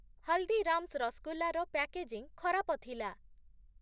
ହଲ୍‌ଦୀରାମ୍‌ସ୍‌ ରସ୍‌ଗୁଲ୍ଲା ର ପ୍ୟାକେଜିଂ ଖରାପ ଥିଲା ।